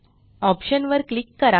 option वर click करा